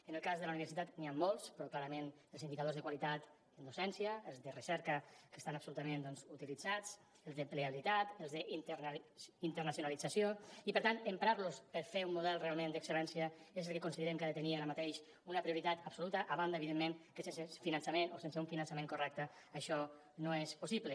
en el cas de la universitat n’hi han molts però clarament els indicadors de qualitat en docència els de recerca que estan absolutament doncs utilitzats els d’ocupabilitat els d’internacionalització i per tant emprar los per fer un model realment d’excel·lència és el que considerem que ha de tenir ara mateix una prioritat absoluta a banda evidentment que sense finançament o sense un finançament correcte això no és possible